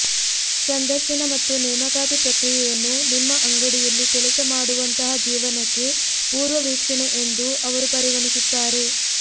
ಸಂದರ್ಶನ ಮತ್ತು ನೇಮಕಾತಿ ಪ್ರಕ್ರಿಯೆಯನ್ನು ನಿಮ್ಮ ಅಂಗಡಿಯಲ್ಲಿ ಕೆಲಸ ಮಾಡುವಂತಹ ಜೀವನಕ್ಕೆ ಪೂರ್ವವೀಕ್ಷಣೆ ಎಂದು ಅವರು ಪರಿಗಣಿಸುತ್ತಾರೆ